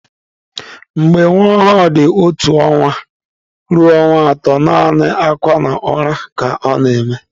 Mgbe nwa ọhụrụ dị otu ọnwa ruo ọnwa atọ, naanị akwa na ụra ka ọ na-eme.